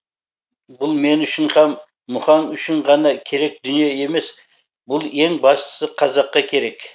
бұл мен үшін һәм мұхаң үшін ғана керек дүние емес бұл ең бастысы қазаққа керек